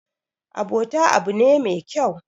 abota abu ne me kyau